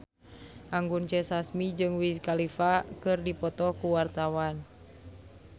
Anggun C. Sasmi jeung Wiz Khalifa keur dipoto ku wartawan